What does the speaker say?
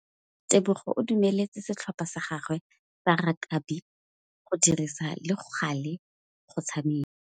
Tebogô o dumeletse setlhopha sa gagwe sa rakabi go dirisa le galê go tshameka.